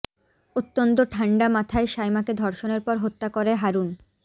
অত্যন্ত ঠান্ডা মাথায় সায়মাকে ধর্ষণের পর হত্যা করে হারুন